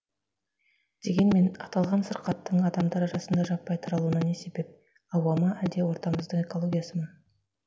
дегенмен аталған сырқаттың адамдар арасында жаппай таралуына не себеп ауа ма әлде ортамыздың экологиясы ма